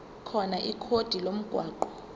khona ikhodi lomgwaqo